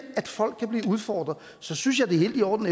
at folk kan blive udfordret så synes jeg det er helt i orden